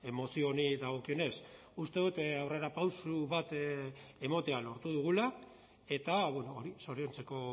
mozio honi dagokionez uste dut aurrerapauso bat ematea lortu dugula eta hori zoriontzeko